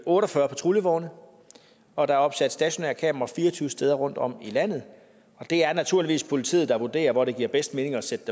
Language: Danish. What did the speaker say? otte og fyrre patruljevogne og der er opsat stationære kameraer fire og tyve steder rundtom i landet det er naturligvis politiet der vurderer hvor det giver bedst mening at sætte